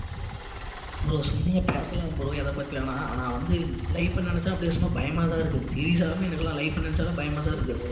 bro சும்மா பேசலாம் bro எதைப்பத்தி வேணா ஆனா வந்து life அ நினைச்சா அப்படியே சும்மா பயமாதான் இருக்கு serious ஆலுமே எனக்கு எல்லாம் life அ நினைச்சா தான் பயமாதான் இருக்கு